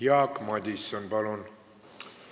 Jaak Madison, palun!